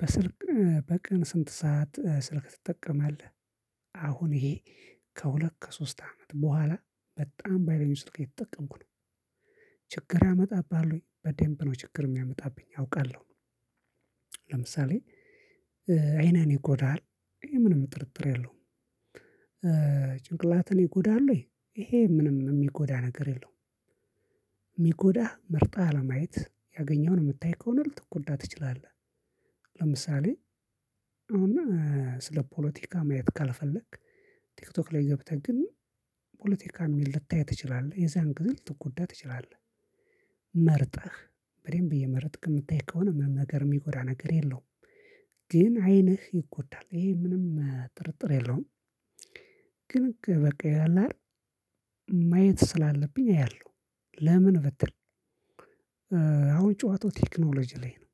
በስልክ እ በቀን ስንት ሰዓት ስልክ ትጠቀማለህ አሁን ይሄ ከሁለት ከሶስት አመት በኋላ በጣም በሃይለኛው ስልክ እየተጠቀምኩ ነው። ችግር ያመጣብሃል ወይ በደምብ ነው ችግር የሚያመጣብኝ አውቃለሁ። ለምሳሌ እ አይኔን ይጎዳል። ይሄ ምንም ጥርጥር የለውም። ጭንቅላትን ይጎዳል ወይ ይሄ ምንም የሚጎዳ ነገር የለውም። የሚጎዳህ መርጠህ አለማየት ያገኘኸውን የምታይ ከሆነ ልትጎዳ ትችላለህ። ለምሳሌ አሁን እ ስለ ፖለቲካ ማየት ካልፈለክ። ቲክቶክ ላይ ገብተህ ግን ፖለቲካ የሚል ልታየው ትችላለህ የዛን ግዜ ልትጎዳ ትችላለህ። መርጠህ በደንብ እየመረጥክ የምታይ ከሆነ ምን ነገር የሚጎዳ ነገር የለውም። ግን አይንህ ይጎዳል ይሄ ምንም ጥርጥር የለውም። ግን በቃ ያለ አይደል? ማየት ስላለብኝ አያለሁ። ለምን ብትል እ አሁን ጨዋታው ቴክኖሎጂ ላይ ነው።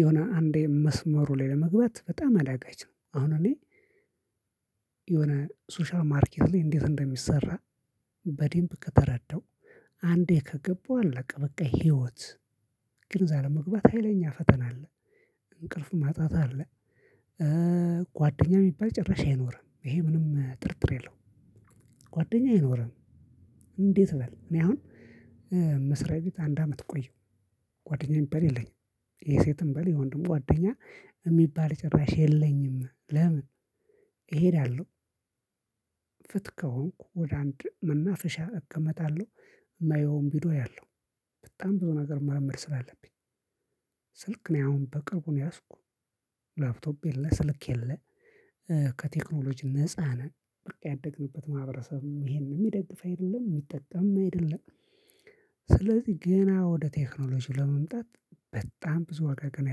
የሆነ አንዴ መስመሩ ላይ ለመግባት በጣም አዳጋች ነው። አሁን እኔ የሆነ ሶሻል ማርኬት ላይ እንዴት እንደሚሰራ? በደምብ ከተረዳው አንዴ ከገባው አለቀ በቃ ህይወት። ግን እዛ ለመግባት ሀይለኛ ፈተና አለ። እንቅልፍ ማጣት አለ እ ጓደኛ የሚባል ጭራሽ አይኖርም ይሄ ምንም ጥርጥር የለውም። ጓደኛ አይኖርም። እንዴት በል እኔ አሁን እ መስሪያ ቤት አንድ አመት ቆየሁ። ጓደኛ የሚባል የለኝም። ይሄ ሴትም በል የወንድም ጓደኛ የሚባል ጭራሽ የለኝም ለምን? እሄዳለሁ ፍት ከሆንኩ ወደ አንድ መናፍሻ እቀመጣለሁ። ማየውን ቪዲዮ አያለው። በጣም ብዙ ነገር መልመድ ስላለብኝ። ስልክ ነው አሁን በቅርቡ ነው የያዝኩት ላፕቶፕ የለ ስልክ የለ። ከቴክኖሎጂ ነፃ ነን በቃ ያደግንበት ማህበረሰብም ይሄንን የሚደግፍ አይደለም የሚጠጠም አይደለም። ስለዚህ ገና ወደ ቴክኖሎጂው ለመምጣት በጣም ብዙ ዋጋ ገና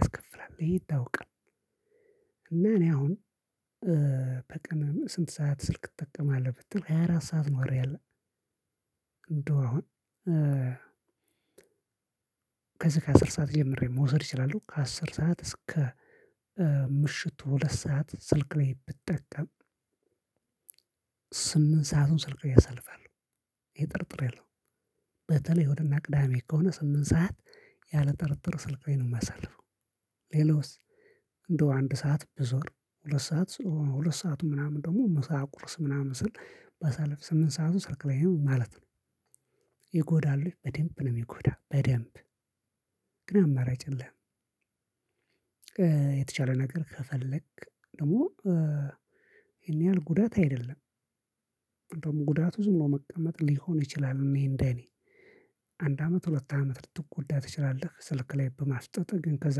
ያስከፍላል ይሄ ይታወቃል። እና እኔ አሁን በቀን ስንት ሰዓት ስልክ ትጠቀማለህ? ብትል ሃያ አራት ሰዓት ነው ያለው። እንደው አሁን ከዚህ ከአስር ሰዓት ጀምሬ መውሰድ እችላለሁ። ከአስር ሰዓት እስከ ምሽቱ ሁለት ሰዓት ስልክ ላይ ብጠቀም። ስምንት ሰአቱን ስልክ ላይ አሳልፋለሁ። ይኼ ጥርጥር የለውም። በተለይ እሁድ እና ቅዳሜ ከሆነ ስምንት ሰዓት ያለ ጥርጥር ስልክ ላይ ነው የማሳልፈው። ሌላውስ? እንደው አንድ ሰዓት ብዞር ሁለት ሰዓት ሁለት ሰዓቱ ምናምን ደግሞ ምሳ ቁርስ ምናምን ስል ባሳለፍ ስምንት ሰዓቱ ስልክ ላይ ማለት ነው። ይጎዳል ወይ? በደንብ ነው የሚጎዳ በደንብ ግን አማራጭ የለህም። የተቻለ ነገር ከፈለክ ደግሞ ይሄን ያህል ጉዳት አይደለም። ደግሞ ጉዳቱ ዝም ነው መቀመጥ ሊሆን ይችላል። እኔ እንደኔ አንድ አመት ሁለት አመት ልትጎዳ ትችላለህ ስልክ ላይ በማፍጠጥህ ግን ከዛ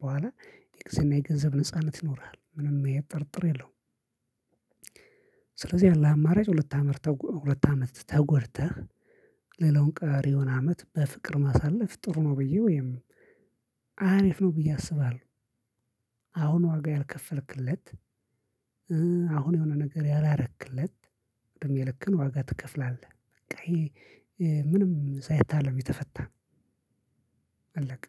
በኋላ የጊዜና የገንዘብ ነጻነት ይኖርሃል ምንም አይነት ጥርጥር የለውም። ስለዚህ ያለህ አማራጭ ሁለት አመት ተጎድተህ ሌላውን ቀሪውን አመት በፍቅር ማሳለፍ ጥሩ ነው ብዬ ወይም አሪፍ ነው ብዬ አስባለሁ። አሁን ዋጋ ያልከፈልክለት። አሁን የሆነ ነገር ያላረክለት እድሜ ልክህን ዋጋ ትከፍላለህ በቃ ይሄ ምንም ሳይታለም የተፈታ። አለቀ።